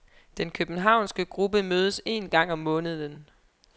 Den københavnske gruppe mødes en gang om måneden.